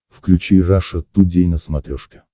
включи раша тудей на смотрешке